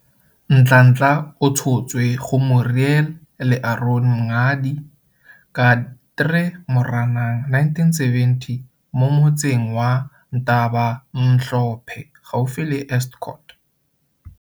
Nhlanhla o tshotswe go Muriel le Aron Mngadi ka 3 Moranang 1970 mo motseng wa Ntabamhlophe gaufi le Estcourt.